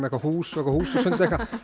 eitthvað hús og húsasund